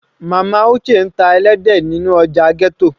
Mama Uche ń ta ẹlẹ́dẹ̀ nínú ọjà ghetto.